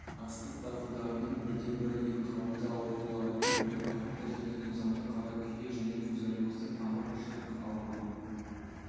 астық дақылдарының бірден-бір ең қауіпті ауруларының бірі қатты және тозаңды қара күйе және фузариозды тамыр шірік ауруы